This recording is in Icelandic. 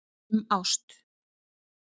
Um ást.